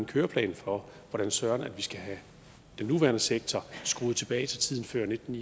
køreplan for hvordan søren vi skal have den nuværende sektor skruet tilbage til tiden før nitten